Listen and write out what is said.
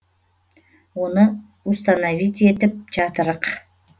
оны установить етіп жатырық